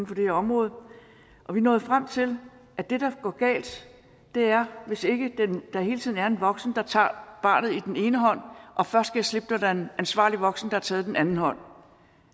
for det her område og vi nåede frem til at det der går galt er hvis ikke der hele tiden er en voksen der tager barnet i den ene hånd og først giver slip når der er en ansvarlig voksen der har taget den anden hånd